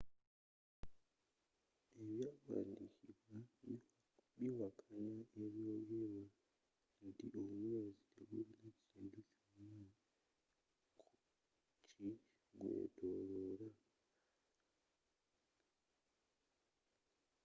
ebyawandikibwa biwakanya ebyogerwa nti omwezi tegulina kintu kyona ki gweetooloola